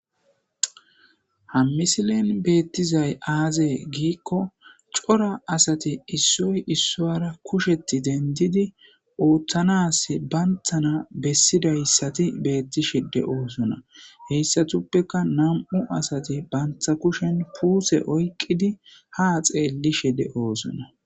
Ha misilezani bettidayi aze gikko coora assati isoyi iswuara kusheti deniddidi othanasi banitana besidayisati betosona hasatupeka namu'u asati banita kusheni pute iyikid ha xelishe dosona